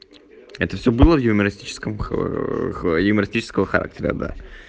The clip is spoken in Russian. это все было в юмористическом юмористического характера да